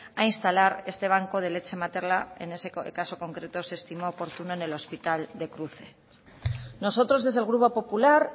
a instalar este banco de leche materna en ese caso concreto se estimó oportuno en el hospital de cruces nosotros desde el grupo popular